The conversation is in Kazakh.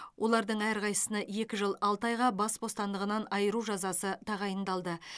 олардың әрқайсысына екі жыл алты айға бас бостандығынан айыру жазасы тағайындалды